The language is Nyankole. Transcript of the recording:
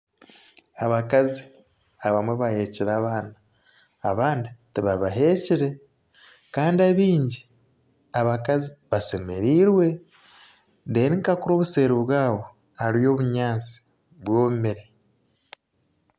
Abakazi abamwe baheekire abaana abandi tibabahekire kandi abaingi abakazi bashemereirwe reeru nka kuriya obuseeri bwabo hariyo obunyatsi bwomire